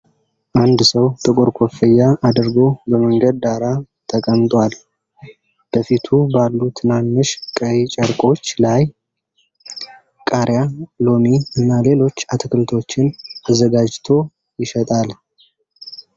አንድ ሰው ጥቁር ኮፍያ አድርጎ በመንገድ ዳር ተቀምጧል። በፊቱ ባሉ ትናንሽ ቀይ ጨርቆች ላይ ቃሪያ፣ ሎሚ እና ሌሎች አትክልቶችን አዘጋጅቶ ይሸጣል።